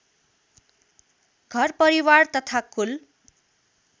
घरपरिवार तथा कुल